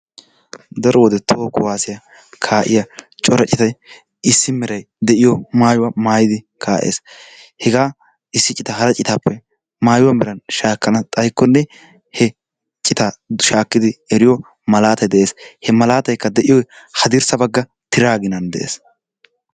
Daro wode toho kuwaasiya kaa'iya cora citay issi meray de'iyo maayuwa maayidi kaa'ees, hegaa issi citaa hara citaappe maayuwa meran shaakkana xaykkonne he citaa shaakkidi eriyo malaatay de'ees. Ha malaataykka de'iyoy haddirssa bagga tiraa ginnaan de'ees.